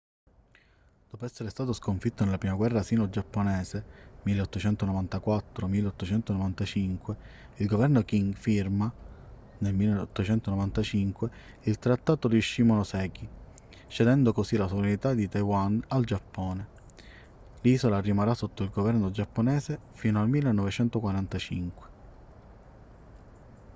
dopo essere stato sconfitto nella prima guerra sino-giapponese 1894-1895 il governo qing firma nel 1895 il trattato di shimonoseki cedendo così la sovranità di taiwan al giappone; l'isola rimarrà sotto il governo giapponese fino al 1945